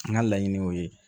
N ka laɲini y'o ye